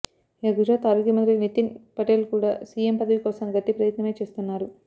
ఇక గుజరాత్ ఆరోగ్య మంత్రి నితిన్ పటేల్ కూడా సీఎం పదవి కోసం గట్టి ప్రయత్నమే చేస్తున్నారు